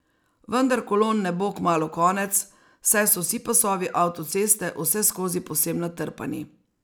Vendar kolon ne bo kmalu konec, saj so vsi pasovi avtoceste vseskozi povsem natrpani.